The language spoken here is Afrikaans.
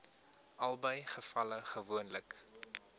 albei gevalle gewoonlik